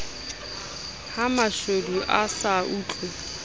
ha mashodu a sa otlwe